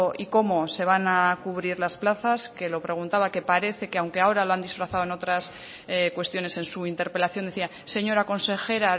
y cómo se van a cubrir las plazas que lo preguntaba que parece que aunque ahora lo han disfrazado en otras cuestiones en su interpelación decía señora consejera